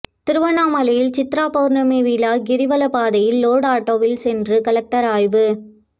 திருவண்ணாமலையில் சித்ரா பவுர்ணமி விழா கிரிவல பாதையில் லோடு ஆட்டோவில் சென்று கலெக்டர் ஆய்வு